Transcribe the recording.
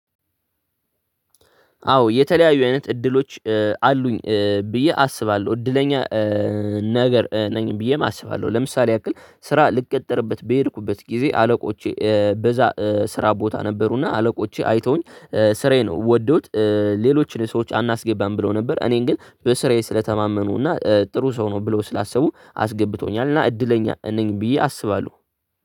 አዎ የተለያዩ አይነት እድሎች አሉኝ ብዬ አስባለሁ። እድለኛ ነገር ነኝ ብዬም አስባለሁ። ለምሳሌ ያክል ስራ ልቀጠርበት በሄድኩበት ግዜ አለቆቼ በዛ ስራ ቦታ ነበሩ፤ እና አለቆቼ አይተውኝ ስራዬን ወደውት ሌሎችን ሰዎች አናስገባም ብለው ነበር። እኔን ግን በስራዬ ስለተማመኑ እና ጥሩ ሰው ነው ብለው ስላሰቡ አስገብተውኛል። እና እድለኛ ነኝ ብዬ አሰባለሁ።